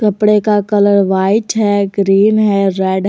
कपड़े का colour white है ग्रीन है रेड --